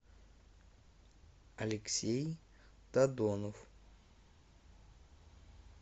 алексей тадонов